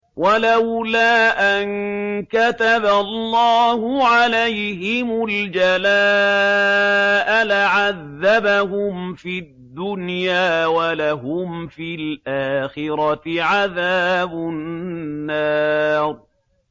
وَلَوْلَا أَن كَتَبَ اللَّهُ عَلَيْهِمُ الْجَلَاءَ لَعَذَّبَهُمْ فِي الدُّنْيَا ۖ وَلَهُمْ فِي الْآخِرَةِ عَذَابُ النَّارِ